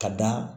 Ka da